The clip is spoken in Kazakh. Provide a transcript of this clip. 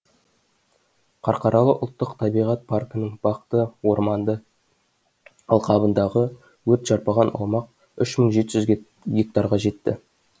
қарқаралы ұлттық табиғат паркінің бақты орманды алқабындағы өрт шарпыған аумақ үш мың жеті жүз гектарға жетті